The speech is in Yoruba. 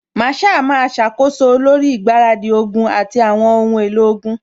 Masaa máa ṣàkóso lórí ìgbáradì ogun àti àwọn ohun èlò ogun